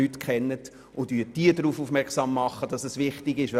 Machen Sie diese darauf aufmerksam, dass es wichtig ist.